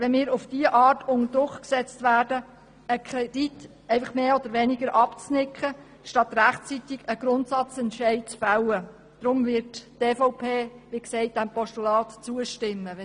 Wenn wir auf diese Art unter Druck gesetzt werden, einen Kredit einfach mehr oder weniger abzunicken, statt rechtzeitig einen Grundsatzentscheid zu fällen, ist es auch unbefriedigend.